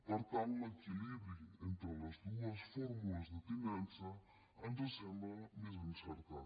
per tant l’equilibri entre les dues fórmules de tinença ens sembla més encertat